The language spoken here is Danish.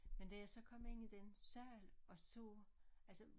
Men da jeg så kom ind i den sal og så altså